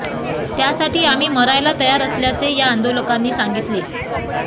त्यासाठी आम्ही मरायला तयार असल्याचे असे या आंदोलकांनी सांगितले